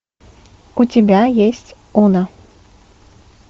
у тебя есть она